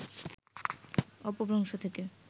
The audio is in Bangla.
অপভ্রংশ থেকে